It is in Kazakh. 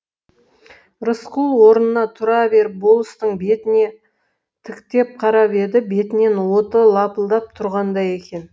рысқұл орнына тұра беріп болыстың бетіне тіктеп қарап еді бетінен оты лапылдап тұрғандай екен